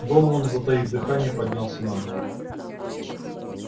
донован затаив дыхание поднялся на ноги